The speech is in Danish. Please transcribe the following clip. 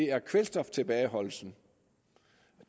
er kvælstoftilbageholdelsen